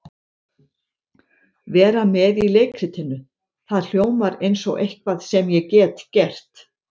Vera með í leikritinu, það hljómar eins og eitthvað sem ég get gert.